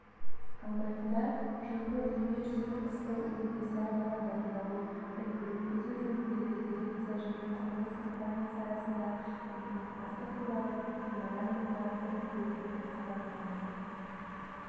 алматыда жылғы дүниежүзілік қысқы универсиадаға дайындалу және өткізу жөніндегі дирекция және құрылыс компаниясы арасында ынтымақтастық туралы меморандумға қол қойылды деп хабарлайды